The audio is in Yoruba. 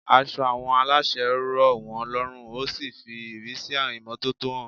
Aṣọ àwọn aláṣẹ rọ̀ wọ́n lọ́rùn ó sì fi ìrísí imọ́tótó hàn.